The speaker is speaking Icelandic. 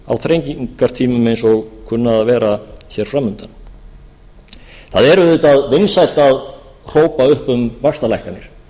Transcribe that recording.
þrengingartímum eins og kunna að vera fram undan það er auðvitað vinsælt að hrópa upp um vaxtalækkanir